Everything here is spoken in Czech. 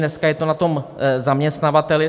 Dneska je to na tom zaměstnavateli.